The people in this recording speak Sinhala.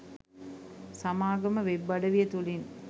සමාගම වෙබ් අඩවිය තුලින්